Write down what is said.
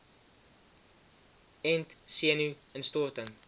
ent senu instorting